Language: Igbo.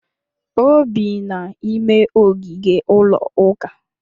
O bi n'ime ogige ụlọuka